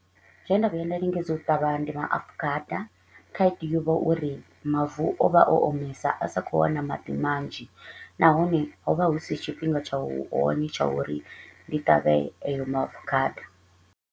Zwe nda vhuya nda lingedza u ṱavha ndi maafukhada, khaedu yo vha uri mavu o vha o omesa a sa kho u wana maḓi manzhi nahone ho vha hu si tshifhinga tsha u hone tsha uri ndi ṱavhe ayo maafukhada.